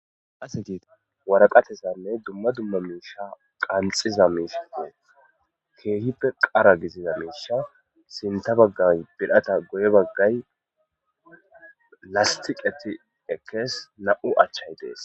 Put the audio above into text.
Duma duma misha qanxizaysa kehippe qara gidida misha sinta bagay birata guye baga lastiqeti ekes nam'u achay des